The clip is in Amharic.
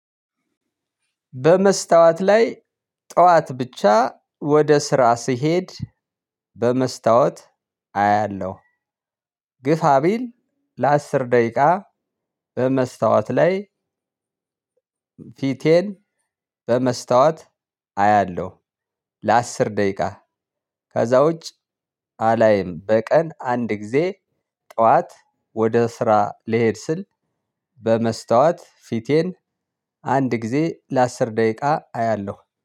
በመስታወት ላይ ጠዋት ብቻ ወደ ስራ ስሄድ በመስታወት አያለሁ ግፋ ቢል ለአስር ደቂቃ በመስታወት ላይ ፊቴን በመስታወት አያለው። ለአስር ደቂቃ ከዛ ውጭ አላይም በቀን አንድ ጊዜ ጠዋት ወደ ስራ ልሄድ ስል በመስታወት ፊቴን አንድ ጊዜ ለአስር ደቂቃ አያለሁ